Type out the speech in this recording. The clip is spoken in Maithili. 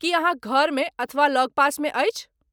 की अहाँक घरमे अथवा लगपासमे अछि?